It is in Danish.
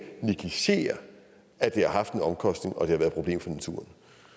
negligere at det har haft en omkostning og at det har været et problem for naturen